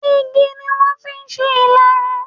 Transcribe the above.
Igi ni wọ́n fi ń ṣe Ìlarun